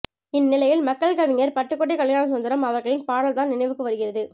இந்நிலையில் மக்கள் கவிஞர் பட்டுக்கோட்டை கல்யாணசுந்தரம் அவர்களின் பாடல்தான் நினைவுக்கு வருகிறது